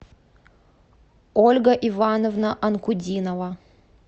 ольга ивановна анкудинова